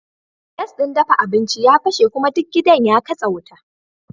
Gas din dafa abinci ya fashe kuma duk gidan ya katse wuta